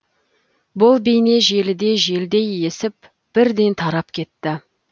бұл бейне желіде желдей есіп бірден тарап кетті